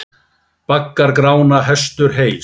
Baggar Grána hestur heys.